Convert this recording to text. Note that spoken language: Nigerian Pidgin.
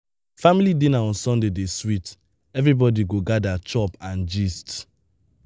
family dinner on sunday dey sweet everybody go gather chop and gist.